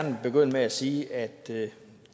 gerne begynde med at sige at